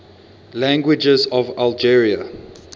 languages of algeria